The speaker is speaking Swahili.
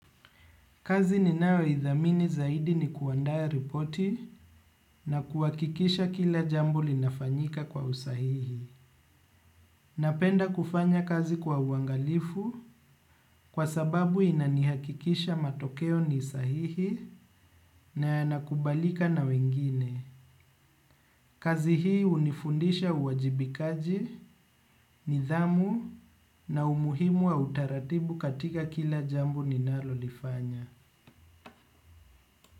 Kazi ninayo ithamini zaidi ni kuandaa ripoti na kuhakikisha kila jambo linafanyika kwa usahihi. Napenda kufanya kazi kwa uangalifu, kwa sababu inanihakikisha matokeo ni sahihi na yanakubalika na wengine. Kazi hii hunifundisha uwajibikaji, nidhamu na umuhimu wa utaratibu katika kila jambo ninalolifanya.